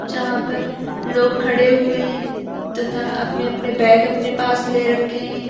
जहां पर लोग खड़े हुए है तथा अपने अपने बैग अपने पास ले रखे है।